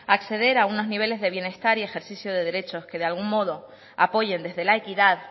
acceder a unos niveles de bienestar y ejercicio de derecho que de algún modo apoyen desde la equidad